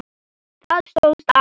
Það stóðst alltaf.